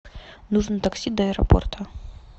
нужно такси до аэропорта